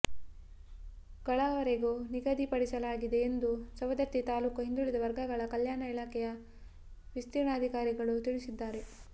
ಗಳವರೆಗೆ ನಿಗಧಿ ಪಡಿಸಲಾಗಿದೆ ಎಂದು ಸವದತ್ತಿ ತಾಲೂಕ ಹಿಂದುಳಿದ ವರ್ಗಗಳ ಕಲ್ಯಾಣ ಇಲಾಖೆಯ ವಿಸ್ತೀರ್ಣಾಧಿಕಾರಿಗಳು ತಿಳಿಸಿದ್ದಾರೆ